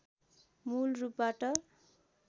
मूल रूपबाट